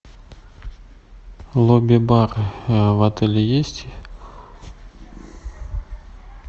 лобби бар в отеле есть